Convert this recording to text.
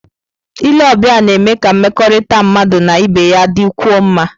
Ile ọbịa na-eme ka mmekọrịta mmadụ na ibe ya dịkwuo mma.